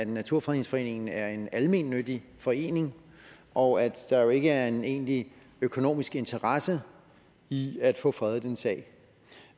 naturfredningsforening er en almennyttig forening og at der jo ikke er en egentlig økonomisk interesse i at få en fredningssag